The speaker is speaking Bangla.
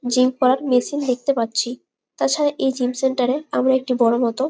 জিম করার মেশিন দেখতে পাচ্ছি। তাছাড়া এই জিম সেন্টার এ আমরা একটি বড় মত--